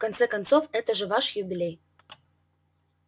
в конце концов это же ваш юбилей